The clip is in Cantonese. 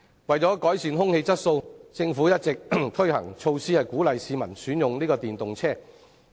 為改善空氣質素，政府一直推行措施，鼓勵市民選用電動車輛。